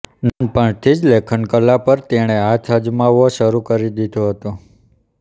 નાનપણથી જ લેખનકલા પર તેણે હાથ અજમાવવો શરૂ કરી દીધો હતો